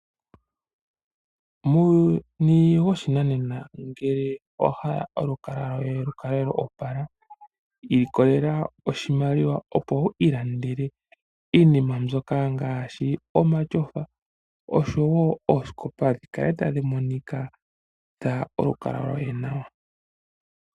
Muuyuni woshinanena ngele owa hala olukalwa lwoye lu kale lwo opala, ilikolela oshimaliwa, opo wu ilandele iinima mbyoka ngaashi omatyofa, oshowo oosikopa dhi kale tadhi monikitha olukalwa loye nawa.